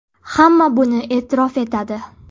Hamma buni e’tirof etadi.